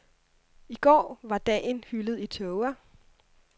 I går var dagen hyldet i tåger.